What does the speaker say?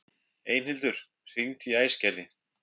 Einhildur, hringdu í Æsgerði.